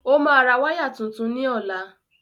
Ó máa ra wáyà tuntun ní ọ̀la.